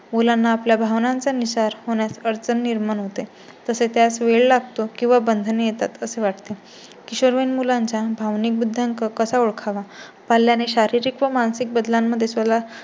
मुलांना आपल्या भावनांचा नुसार होण्यास अडचण निर्माण होते तसेच त्यास वेळ लागतो किंवा बंधने येतात असे वाटते. किशोरवयीन मुलांच्या भावनिक बुद्ध्यांक कसा ओळखावा पाल्याने शारीरिक व मानसिक बदलांमध्ये